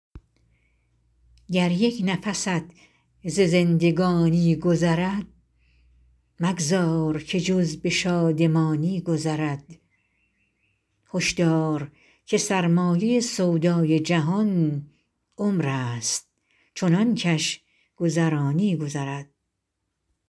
گر یک نفست ز زندگانی گذرد مگذار که جز به شادمانی گذرد هشدار که سرمایه سودای جهان عمر است چنان کش گذرانی گذرد